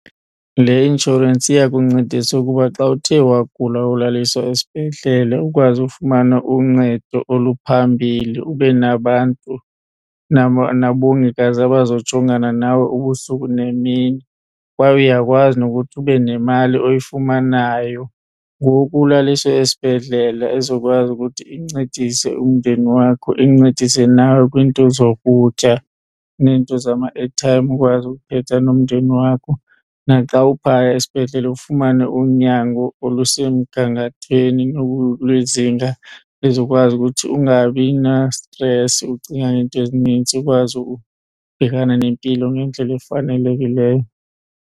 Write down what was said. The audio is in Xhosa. Le inshorensi iyakuncedisa ukuba xa uthe wagula wolaliswa esibhedlele ukwazi ufumana uncedo oluphambili, ube nabantu nabongikazi abazawujongana nawe ubusuku nemini. Kwaye uyakwazi nokuthi ube nemali oyifumanayo ngoku ulaliswe esibhedlela ezokwazi ukuthi incedise umndeni wakho, incedise nawe kwinto zokutya nento zama-airtime ukwazi ukuthetha nomndeni wakho. Naxa uphaya esibhedlele ufumane unyango olusemgangathweni lwezinga lizokwazi ukuthi ungabi nastresi ucingana ne nto ezinintsi, ukwazi ukubhekana nempilo ngendlela efanelekileyo.